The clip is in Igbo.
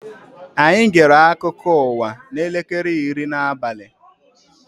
Anyị gere akụkọ ụwa n'elekere iri n'abali